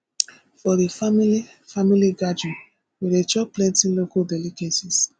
for di family family gathering we dey chop plenty local delicacies